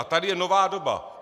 A tady je nová doba.